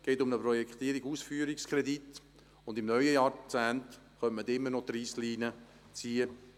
Es geht um einen Projektierungs- und Ausführungskredit, und im neuen Jahrzehnt können wir immer noch die Reissleine ziehen.